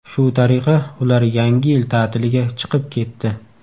Shu tariqa ular yangi yil ta’tiliga chiqib ketdi.